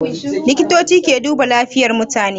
likitoci ke duba lafiyan mutane